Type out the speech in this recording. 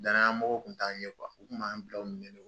Danaya mɔgɔ kun t'an ye u kun b'an bila u ɲɛ